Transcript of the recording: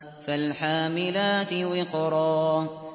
فَالْحَامِلَاتِ وِقْرًا